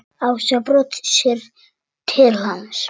Ása brosir til hans.